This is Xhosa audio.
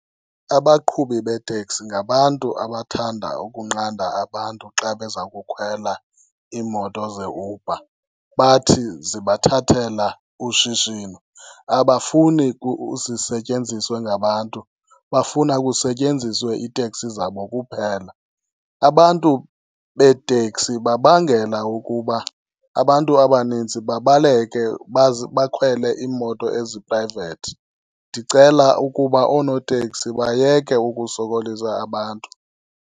Abaqhubi beeteksi ngabantu abathanda ukunqanda abantu xa beza kukhwela iimoto zeUber, bathi zibathathela ushishino. Abafuni zisetyenziswe ngabantu, bafuna kusetyenziswe iiteksi zabo kuphela. Abantu beeteksi babangela ukuba abantu abaninzi babaleke baze bakhwele iimoto eziphrayivethi. Ndicela ukuba oonoteksi bayeke ukusokolisa abantu.